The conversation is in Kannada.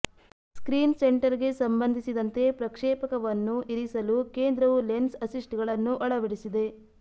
ಸ್ಕ್ರೀನ್ ಸೆಂಟರ್ಗೆ ಸಂಬಂಧಿಸಿದಂತೆ ಪ್ರಕ್ಷೇಪಕವನ್ನು ಇರಿಸಲು ಕೇಂದ್ರವು ಲೆನ್ಸ್ ಅಸಿಸ್ಟ್ಗಳನ್ನು ಅಳವಡಿಸಿದೆ